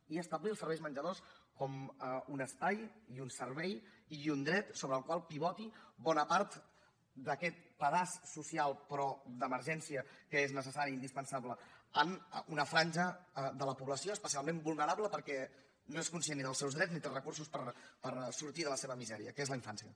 i establir els serveis de menjador com un espai i un servei i un dret sobre el qual pivoti bona part d’aquest pedaç social però d’emergència que és necessari i indispensable en una franja de la població especialment vulnerable perquè ni és conscient dels seus drets ni té recursos per sortir de la seva misèria que és la infància